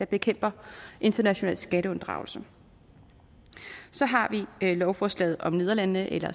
bekæmper international skatteunddragelse så har vi lovforslaget om nederlandene eller